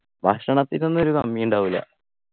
ഭക്ഷണത്തിനൊന്നും ഒരു കമ്മി ഉണ്ടാവൂല